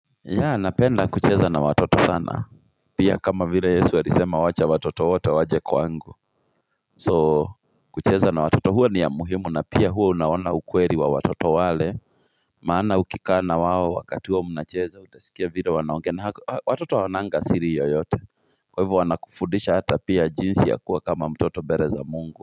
Napenda kucheza na watoto sana pia kama vile yesu alisema wacha watoto wote waje kwangu kucheza na watoto huwa ni ya muhimu na pia huwa unaona ukweli wa watoto wale maana ukikaa na wao wakati huo mnacheza utasikia vile wanaongea na watoto hawananga siri yoyote kwa hivyo wanakufundisha hata pia jinsi ya kuwa kama mtoto mbele za mungu.